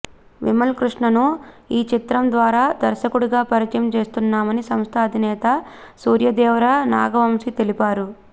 విమల్ కృష్ణను ఈచిత్రం ద్వారా దర్శకుడిగా పరిచయం చేస్తున్నామని సంస్థ అధినేత సూర్యదేవర నాగవంశీ తెలిపారు